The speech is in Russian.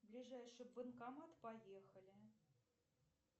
ближайший банкомат поехали